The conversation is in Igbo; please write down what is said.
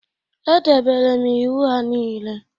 Edebere m iwu ha niile